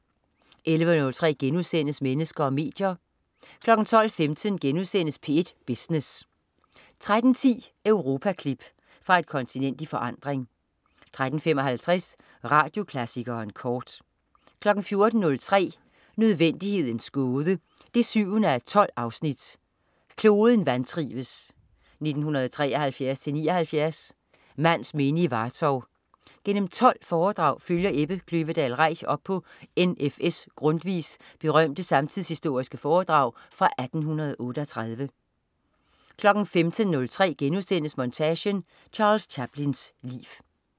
11.03 Mennesker og medier* 12.15 P1 Business* 13.10 Europaklip. Fra et kontinent i forandring 13.55 Radioklassikeren kort 14.03 Nødvendighedens Gåde 7:12. Kloden vantrives (1973-79). Mands minde i Vartov. Gennem 12 foredrag følger Ebbe Kløvedal Reich op på N.F.S Grundtvigs berømte samtidshistoriske foredrag fra 1838 15.03 Montage: Charles Chaplins liv*